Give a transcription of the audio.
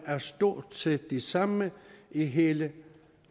er stort set de samme i hele